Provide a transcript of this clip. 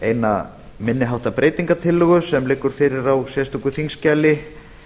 eina minni háttar breytingartillögu sem liggur fyrir á sérstöku þingskjali